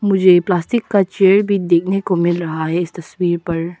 मुझे प्लास्टिक का चेयर भी देखने को मिल रहा है इस तस्वीर पर।